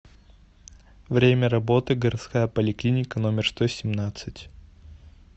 время работы городская поликлиника номер сто семнадцать